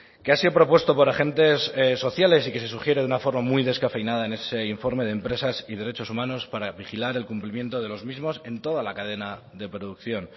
que ha sido propuesto por agentes sociales y que se sugiere de una forma muy descafeinada en ese informe de empresas y derechos humanos para vigilar el cumplimiento de los mismos en toda la cadena de producción